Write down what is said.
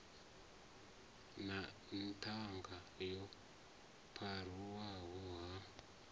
na ṱhanga yo pharuwaho ha